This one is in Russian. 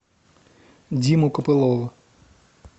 диму копылова